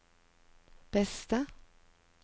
beste